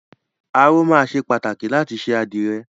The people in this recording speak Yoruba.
Aró máa ṣe pàtàkì láti ṣe àdìrẹ.